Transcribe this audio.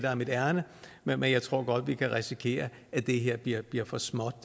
er mit ærinde men jeg tror godt at vi kan risikere at det her bliver bliver for småt